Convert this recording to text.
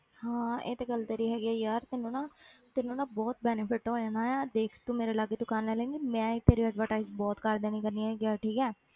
ਹਾਂ ਇਹ ਤੇ ਗੱਲ ਤੇਰੀ ਹੈਗੀ ਹੈ ਯਾਰ ਤੈਨੂੰ ਨਾ ਤੈਨੂੰ ਨਾ ਬਹੁਤ benefit ਹੋ ਜਾਣਾ ਹੈ ਦੇਖ ਤੂੰ ਮੇਰੇ ਲਾਗੇ ਦੁਕਾਨ ਲੈ ਲਏਂਗੀ ਮੈਂ ਹੀ ਤੇਰੀ advertise ਬਹੁਤ ਕਰ ਦੇਣੀ ਕਰਨੀ ਹੈਗੀ ਆ ਠੀਕ ਹੈ